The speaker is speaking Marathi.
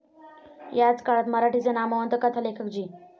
याच काळात मराठीचे नामवंत कथालेखक जी.